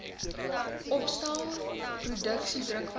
opstel produksie drukwerk